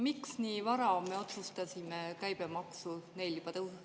Miks otsustati neil juba nii vara käibemaksu tõsta?